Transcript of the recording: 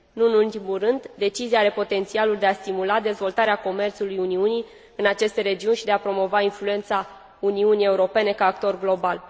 Nu în ultimul rând, decizia are potențialul de a stimula dezvoltarea comerțului Uniunii în aceste regiuni și de a promova influența Uniunii Europene ca actor global.